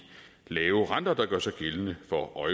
lave renter der gør sig gældende for